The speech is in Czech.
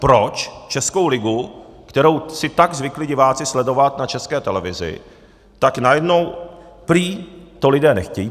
Proč českou ligu, kterou si tak zvykli diváci sledovat na České televizi, tak najednou prý to lidé nechtějí.